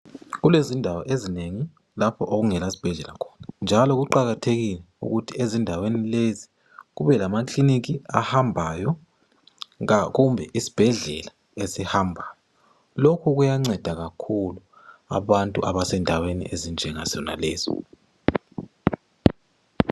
Ku lezindawo ezinengi lapho okungela sibhedlela khona njalo kuqakathekile ukuthi ezindaweni lezi kube lamakiliniki ahambayo kumbe isibhedlela esihambayo, lokhu kuyanceda kakhulu abantu abasendaweni ezinjenga zona lezo.